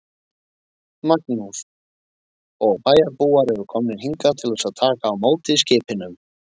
Magnús: Og bæjarbúar eru komnir hingað til að taka á móti skipinu?